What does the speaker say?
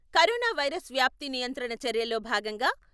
corona virus వ్యాప్తి నియంత్రణ చర్యల్లో భాగంగా.....